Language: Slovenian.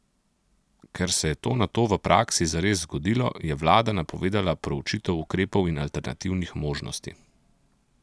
Ker se je to nato v praksi zares zgodilo, je vlada napovedala proučitev ukrepov in alternativnih možnosti.